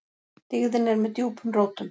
Dyggðin er með djúpum rótum.